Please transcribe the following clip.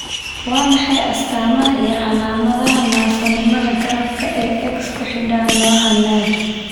Waa maxay astamaha iyo calaamadaha naafonimada garaadka ee X ku xidhan, nooca Najm?